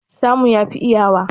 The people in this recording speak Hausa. Samu yafi iyawa.